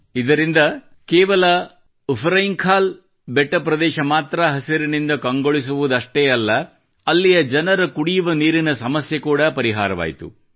ಇದರಿಂದ ಕೇವಲ ಉಫ್ರೆಂಖಾಲ್ ಬೆಟ್ಟ ಪ್ರದೇಶ ಮಾತ್ರ ಹಸಿರಿನಿಂದ ಕಂಗೊಳಿಸುವುದಷ್ಟೇ ಅಲ್ಲ ಅಲ್ಲಿಯ ಜನರ ಕುಡಿಯುಬವ ನೀರಿನ ಸಮಸ್ಯೆ ಕೂಡಾ ಪರಿಹಾರವಾಯ್ತು